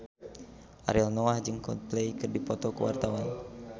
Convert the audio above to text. Ariel Noah jeung Coldplay keur dipoto ku wartawan